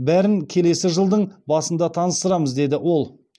бәрін келесі жылдың басында таныстырамыз деді ол